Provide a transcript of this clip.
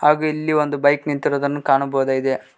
ಹಾಗೂ ಇಲ್ಲಿ ಒಂದು ಬೈಕ್ ನಿಂತಿರುವುದನ್ನು ಕಾಣಬಹುದಾಗಿದೆ.